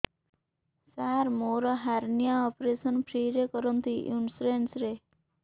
ସାର ମୋର hernia operation free ରେ କରନ୍ତୁ ଇନ୍ସୁରେନ୍ସ ରେ